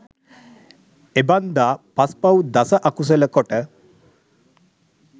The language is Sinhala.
එබන්දා පස් පව් දස අකුසල කොට